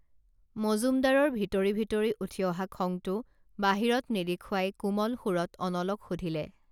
মজুমদাৰৰ ভিতৰি ভিতৰি উঠি অহা খংটো বাহিৰত নেদেখুৱাই কোমল সুৰত অনলক সুধিলে